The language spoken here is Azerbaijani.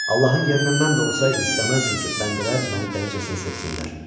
Allahın yerinə mən də olsaydım istəməzdim ki, bəndələr məni dəlicəsinə sevsinlər.